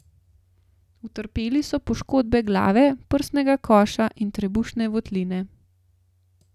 Utrpeli so poškodbe glave, prsnega koša in trebušne votline.